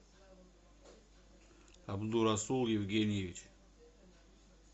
абдурасул евгеньевич